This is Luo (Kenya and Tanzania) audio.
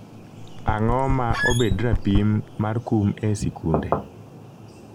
ang'o ma obed rapim mar kum e sikunde?